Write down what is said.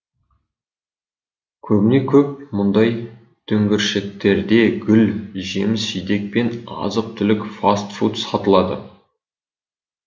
көбіне көп мұндай дүңгіршектерде гүл жеміс жидек пен азық түлік фаст фуд сатылады